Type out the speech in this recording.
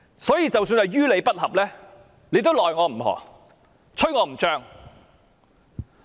所以，即使是於理不合，大家也無可奈何。